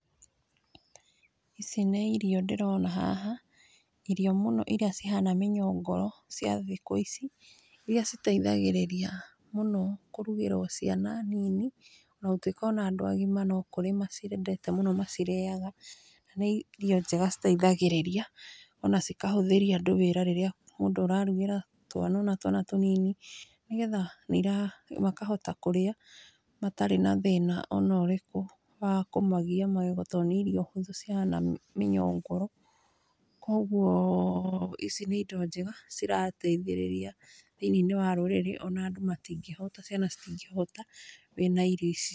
Ici nĩ irio ndĩrona haha , irio mũno irĩa cihanga mĩnyongoro cia thikũ ici, irĩa citeithagĩrĩria mũno kũrugĩrwo ciana nini, na gũtuĩka o na andũ agima no kũrĩ maciendete mũno macirĩaga, nĩ irio njega citeithagĩrĩria, ona cikahũthĩria andũ wĩra rĩrĩa mũndũ ararugĩra twana ona twana tũnini, nĩgetha nĩ ira makahota kũrĩa, matarĩ na thĩna ona ũrĩkũ wa kũmagia magego, tondũ nĩ irio hũthũ cihana mĩnyongoro, kogwo ici nĩ indo njega cirateithĩrĩria, thĩiniĩ wa rũrĩrĩ ona andũ matingĩhũta, ciana citingĩhũta wĩ na irio ici.